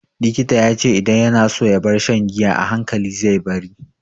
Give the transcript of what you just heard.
Likita ya ce idan yana so ya bar shan giya,a hankali zai bari.